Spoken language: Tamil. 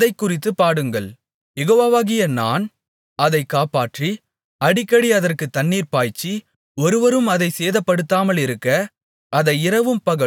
யெகோவாவாகிய நான் அதைக் காப்பாற்றி அடிக்கடி அதற்குத் தண்ணீர்ப்பாய்ச்சி ஒருவரும் அதைச் சேதப்படுத்தாமலிருக்க அதை இரவும்பகலும் காத்துக்கொள்வேன்